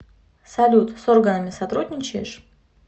салют с органами сотрудничаешь